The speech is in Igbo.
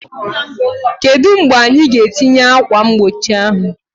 Kedu mgbe anyị ga-etinye ákwà mgbochi ahụ?